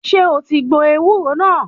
Ṣé o ti gbọ ewúro náà?